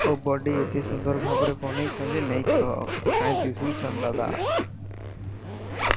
ଓ ବଡ଼ି ଏତେ ସୁନ୍ଦର ଭାବରେ ବନେଇଛନ୍ତି ନାଇ କହ କାଇଁ ଦିଶୁଛନ ଦାଦା।